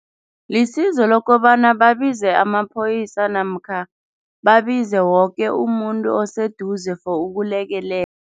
Lisizo lokobana babize amaphoyisa namkha babize woke umuntu oseduze for